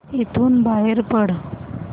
इथून बाहेर पड